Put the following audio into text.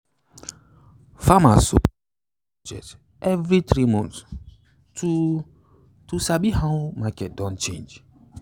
farmers suppose check their budget every three months to to sabi how market don change.